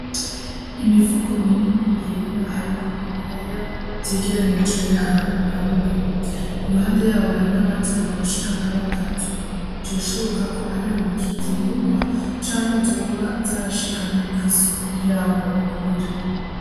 Imifuko minini yera harimwo ibiraya vyegeranijwe ahantu hamwe. Iruhande yabo hari n'abandi bantu bashika nka batatu. Vyoshoboka ko ariho bikivyimburwa canke vyoba vyashikanywe kw'isoko yaho babigurira.